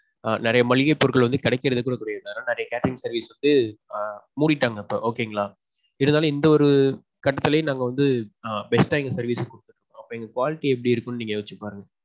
அ நெறைய மளிகை பொருட்கள் வந்து கெடைக்குறது கூட கிடையாது mam. வேற catering service எல்லாம் மூடிட்டாங்க இப்போ okay ங்களா. இதனால இந்த ஒரு கட்டத்துலேயும் நாங்க வந்து best டா எங்க service கொடுக்குறோம். அப்ப எங்க quality எப்பிடி இருக்கும்னு நீங்கயோசிச்சு பாருங்க.